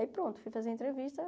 Aí pronto, fui fazer a entrevista.